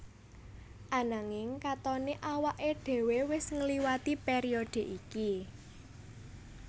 Ananging katoné awaké dhéwé wis ngliwati périodhe iki